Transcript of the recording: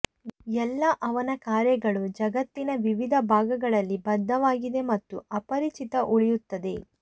ಎಲ್ಲಾ ಅವನ ಕಾರ್ಯಗಳು ಜಗತ್ತಿನ ವಿವಿಧ ಭಾಗಗಳಲ್ಲಿ ಬದ್ದವಾಗಿದೆ ಮತ್ತು ಅಪರಿಚಿತ ಉಳಿಯುತ್ತದೆ